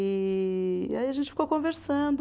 E, e aí a gente ficou conversando.